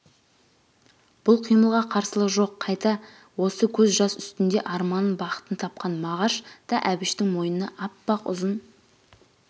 бұл қимылға қарсылығы жоқ қайта осы көз жас үстінде арманын бақытын тапқан мағаш та әбіштің мойнына аппақ ұзын